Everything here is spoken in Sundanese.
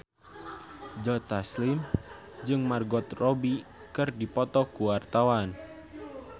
Joe Taslim jeung Margot Robbie keur dipoto ku wartawan